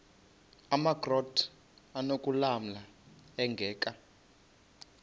amakrot anokulamla ingeka